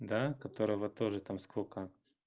да которого тоже там сколько